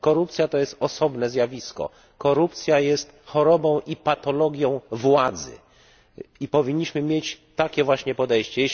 Korupcja to osobne zjawisko. Korupcja jest chorobą i patologią władzy, i powinniśmy mieć takie właśnie podejście.